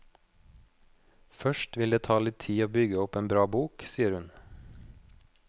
Først vil det ta litt tid å bygge opp en bra bok, sier hun.